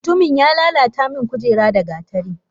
Mutumin ya lala ta min kujera da gatari.